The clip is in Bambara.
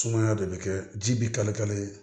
Sumaya de bɛ kɛ ji bi kale kale ye